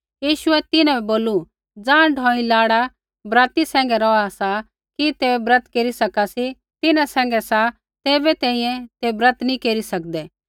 यीशुऐ तिन्हां बै बोलू ज़ाँ ढौई लाड़ा बराती सैंघै रौहा सा कि ते ब्रत केरी सका सी तिन्हां सैंघै सा तैबै तैंईंयैं ते ब्रत नैंई केरी सकदै